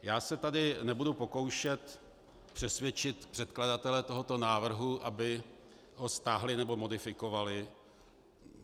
Já se tady nebudu pokoušet přesvědčit předkladatele tohoto návrhu, aby ho stáhli nebo modifikovali.